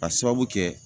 Ka sababu kɛ